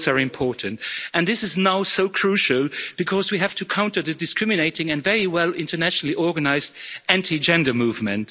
Both are important. This is now so crucial because we have to counter the discriminating and very well internationally organised anti gender movement.